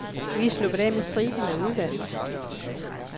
Vi er sluppet af med striben af udvalg.